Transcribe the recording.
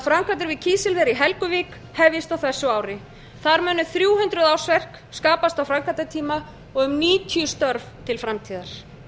framkvæmdir við kísilver í helguvík hefjist á þessu ári þar munu þrjú hundruð ársverk skapast á framkvæmdatíma og um níutíu störf til framtíðar